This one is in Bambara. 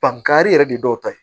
Bangani yɛrɛ de dɔw ta ye